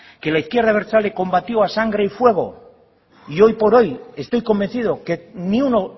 que la izquierda abertzale combatió a sangre y fuego y hoy por hoy estoy convencido que ni uno